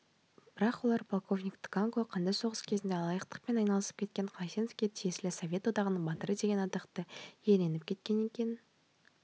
бірақ полковник тканко қанды соғыс кезінде алаяқтықпен айналысып қайсеновке тиесілі совет одағының батыры деген атақты иеленіп кеткенін екінің